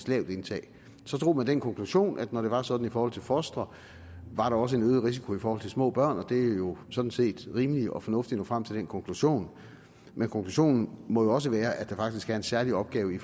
lavt indtag så drog man den konklusion at når det var sådan for fostre var der også en øget risiko for små børn det er jo sådan set rimeligt og fornuftigt at nå frem til den konklusion men konklusionen må også være at der faktisk er en særlig opgave i